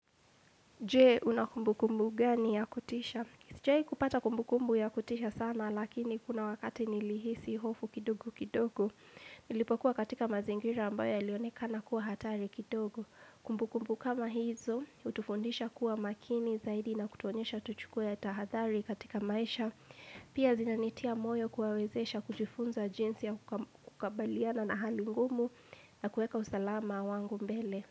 Jee, una kumbukumbu gani ya kutisha? Sijawahi kupata kumbukumbu ya kutisha sana, lakini kuna wakati nilihisi hofu kidogo kidogo. Nilipo kuwa katika mazingira ambayo yalionekana kuwa hatari kidogo. Kumbukumbu kama hizo, hutufundisha kuwa makini zaidi na kutuonyesha tuchukue ya tahadhari katika maisha. Pia zinanitia moyo kuwawezesha kujifunza jinsi ya kukabaliana na hali ngumu na kueka usalama wangu mbele.